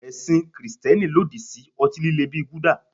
Ẹ̀sìn Kristẹni lòdì sí ọtí líle bíi gulder.